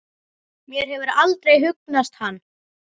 Mér hefur aldrei hugnast hann.